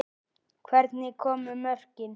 Hvernig komu mörkin?